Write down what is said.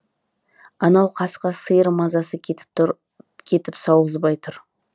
анау қасқа сиыр мазасы кетіп сауғызбай тұр